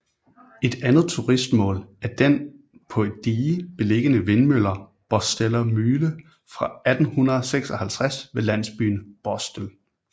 Et andet turistmål er den på et dige beliggende vindmølle Borsteler Mühle fra 1856 ved landsbyen Borstel